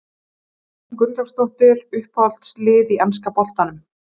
María Rún Gunnlaugsdóttir Uppáhalds lið í enska boltanum?